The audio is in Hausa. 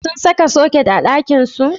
Sun saka soket a ɗakinsu?